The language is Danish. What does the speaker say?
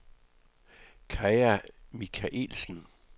Kaja Michaelsen